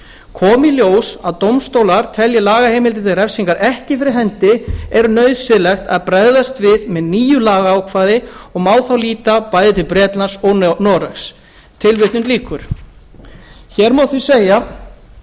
komi í ljós að dómstólar telji lagaheimildir til refsingar ekki fyrir hendi er nauðsynlegt að bregðast við með nýju lagaákvæði og má þá líta bæði til bretlands og noregs tilvitnun lýkur hér má því segja